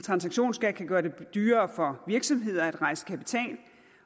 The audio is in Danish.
transaktionsskat kan gøre det dyrere for virksomhederne at rejse kapital